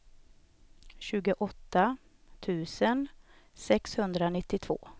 tjugoåtta tusen sexhundranittiotvå